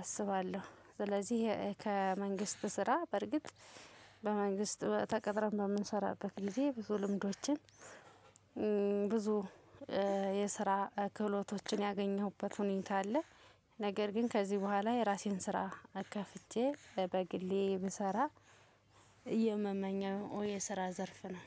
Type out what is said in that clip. አስባለሁ። ስለዚህ ከመንግስት ስራ በርግጥ በመንግስት ተቀጥረን በምንሰራበት ጊዜ ብዙ ልምዶችን ብዙ የስራ ክህሎቶችን ያገኘሁበት ሁኔታ አለ። ነገር ግን ከዚህ በኋላ የራሴን ስራ ከፍቼ በግሌ ብሰራ የምመኘው የስራ ዘርፍ ነው